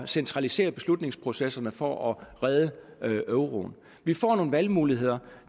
centralisere beslutningsprocesserne for at redde euroen vi får nogle valgmuligheder